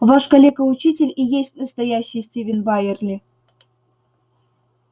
ваш калека-учитель и есть настоящий стивен байерли